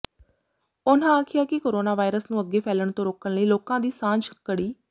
ਉਨ੍ਹਾਂ ਆਖਿਆ ਕਿ ਕੋਰੋਨਾ ਵਾਇਰਸ ਨੂੰ ਅੱਗੇ ਫੈਲਣ ਤੋਂ ਰੋਕਣ ਲਈ ਲੋਕਾਂ ਦੀ ਸਾਂਝ ਕੜੀ